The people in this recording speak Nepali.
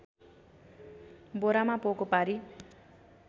बोरामा पोको पारी